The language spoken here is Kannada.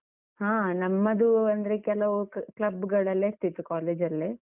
ಹ, ನಮ್ಮದು ಅಂದ್ರೆ ಕೆಲವು club ಗಳೆಲ್ಲ ಇರ್ತಿತ್ತು college ಅಲ್ಲೇ.